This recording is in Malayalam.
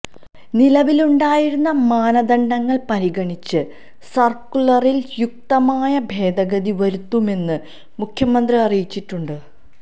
നിലവിലുണ്ടായിരുന്ന മാനദണ്ഡങ്ങള് പരിഗണിച്ച് സർക്കുലറിൽ യുക്തമായ ഭേദഗതി വരുത്തുമെന്ന് മുഖ്യമന്ത്രി അറിയിച്ചിട്ടുണ്ട്